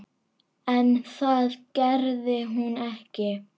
En það gerði hún ekki.